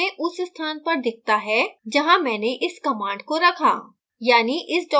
title output में उस स्थान पर दिखता है जहाँ मैंने इस command को रखा